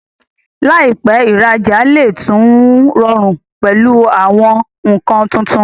láìpé, ìra'jà lè tún rọrùn pẹ̀lú àwọn nǹkan tuntun